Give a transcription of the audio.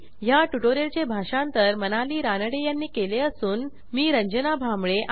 ह्या ट्युटोरियलचे भाषांतर मनाली रानडे यांनी केले असून मी आपला निरोप घेते160